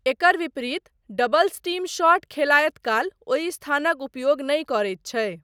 एकर विपरीत, doubles team shot खेलायत काल ओहि स्थानक उपयोग नहि करैत छै।